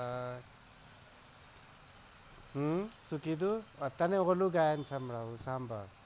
હમ શૂ કીધું અત્યરે વોલ્યૂ ગયાં સાંભળવું સંભાળ